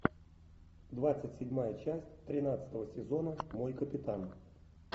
двадцать седьмая часть тринадцатого сезона мой капитан